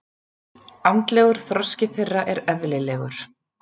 Andlegur þroski þeirra er eðlilegur.